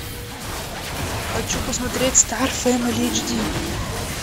хочу посмотреть стар фэмили эйч ди